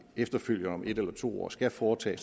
efterfølgende om en eller to år skal foretage